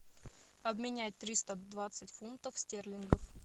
обменять триста двадцать фунтов стерлингов